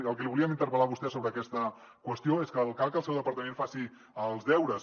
pel que el volíem interpel·lar a vostè sobre aquesta qüestió és perquè el cac el seu departament faci els deures